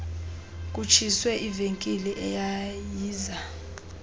kutshiswe ivenkile eyayiza